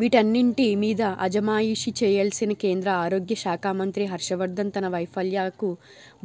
వీటన్నింటి మీద అజమాయిషీ చేయా ల్సిన కేంద్ర ఆరోగ్య శాఖామంత్రి హర్షవర్థన్ తన వైఫల్యాలకు